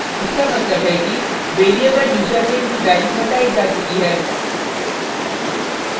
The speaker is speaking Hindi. इसका मतलब है कि variable यूज़रनेम की value हटायी जा चुकी है